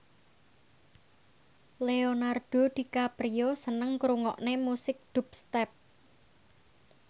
Leonardo DiCaprio seneng ngrungokne musik dubstep